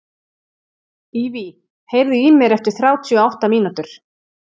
Evey, heyrðu í mér eftir þrjátíu og átta mínútur.